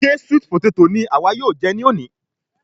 Ṣe sweet potato ni àwa yóò jẹ ní òní?